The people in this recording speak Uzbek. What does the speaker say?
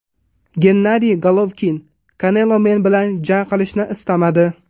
Gennadiy Golovkin: Kanelo men bilan jang qilishni istamadi.